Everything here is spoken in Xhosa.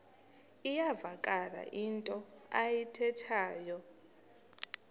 iyavakala into ayithethayo